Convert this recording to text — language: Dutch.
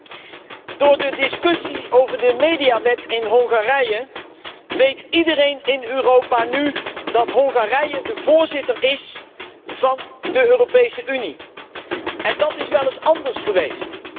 Mevrouw de Voorzitter, door de discussie over de mediawet in Hongarije weet iedereen in Europa dat Hongarije nu de voorzitter is van de Europese Unie en dat is wel eens anders geweest.